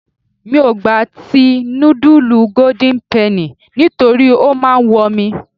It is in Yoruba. Mi ò gba ti nudulu golden penny nítorí ó máa ń wọ mi.